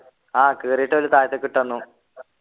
ആഹ് കീറീട്ട് ഓല് താഴത്തേക്ക് ഇട്ടന്നു